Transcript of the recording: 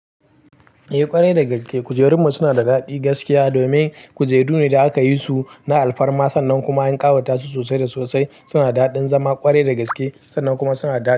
Eh ƙwarai da gaske kujerun mu suna da daɗi gaskiya domin kujeru ne da aka yi su na alfarma sannan kuma an ƙawata su sosai da sosai suna da daɗin zama kwarai da gaske sannan kuma suna da.